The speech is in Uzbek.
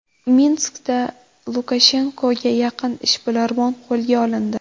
Minskda Lukashenkoga yaqin ishbilarmon qo‘lga olindi.